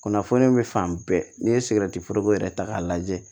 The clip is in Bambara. Kunnafoni be fan bɛɛ n'i ye foroko yɛrɛ ta k'a lajɛ